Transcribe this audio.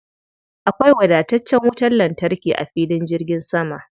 Akwai wadataccen wutar lantarki a filin jirgin sama.